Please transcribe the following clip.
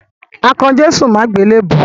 A kan Jésù mọ́ àgbélèbú.